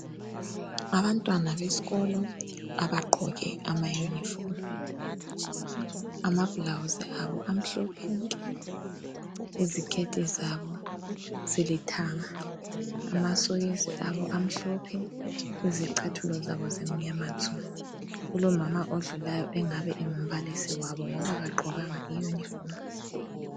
Abantwana beskolo abagqoke ama uniform, ama blouse abo amhlophe nke ,iziketi zabo zilithanga ,amasokisi abo amhlophe izicathula zabo zimnyama tsu ,kulomama odlulayo ongaba ngumbalisi wabo ngoba kagqokanga I uniform